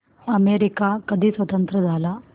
America कधी स्वतंत्र झाला